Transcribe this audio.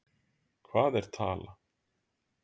Hvað er tala?